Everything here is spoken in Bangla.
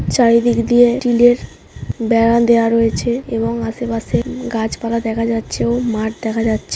চারিদিক দিয়ে স্টিল -এর বেড়া দেওয়া রয়েছে এবং আশেপাশে গাছপালা দেখা যাচ্ছে ও মাঠ দেখা--